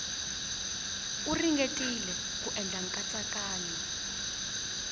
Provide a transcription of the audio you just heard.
u ringetile ku endla nkatsakanyo